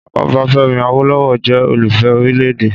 Ọbáfẹ́mi Awólọ́wọ̀ jẹ́ olùfẹ́ orílẹ̀-èdè.